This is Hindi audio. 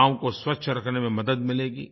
गांव को स्वच्छ रखने में मदद मिलेगी